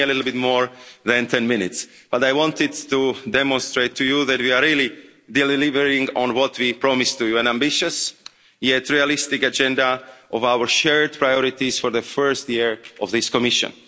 It took me a little bit more than 10 minutes, but I wanted to demonstrate to you that we are really delivering on what we promised to you an ambitious yet realistic agenda of our shared priorities for the first year of this Commission.